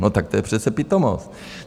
No tak to je přece pitomost.